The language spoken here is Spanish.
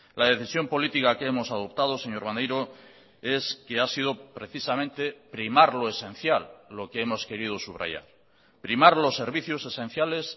la decisión política que hemos adoptado señor maneiro es que ha sido precisamente primar lo esencial lo que hemos querido subrayar primar los servicios esenciales